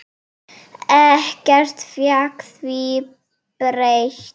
Ekkert fékk því breytt.